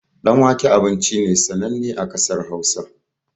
Ɗan wake abinci ne sananne a ƙasar hausa